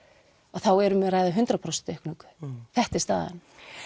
þá er um að ræða hundrað prósent aukningu þetta er staðan